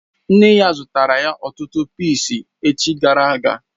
Nne ya zutara ọtụtụ pịịsi echi gara aga